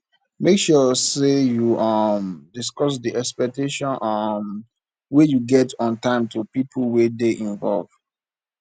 make sure say you um discuss di expectation um wey you get on time to pipo wey de involve